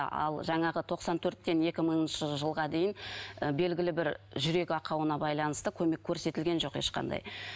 ал жаңағы тоқсан төрттен екі мыңыншы жылға дейін ы белгілі бір жүрек ақауына байланысты көмек көрсетілген жоқ ешқандай